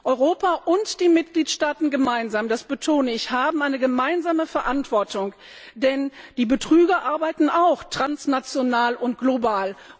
Europa und die Mitgliedstaaten gemeinsam, das betone ich, haben eine gemeinsame Verantwortung, denn die Betrüger arbeiten auch transnational und global.